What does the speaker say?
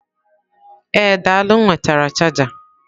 Ee daalụ m nwetara chaja.